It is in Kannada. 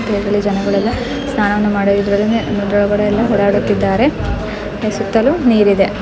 ಕೆಳ್ಗಡೆ ಜನಗಳೆಲ್ಲ ಸ್ನಾನವನ್ನು ಮಾಡುವುದರಿದ್ರಲ್ಲೇನೇ ಕೆಳ್ಗಡೆಯೆಲ್ಲ ಓಡಾಡುತ್ತಿದ್ದಾರೆ ಸುತ್ತಲೂ ನೀರಿದೆ.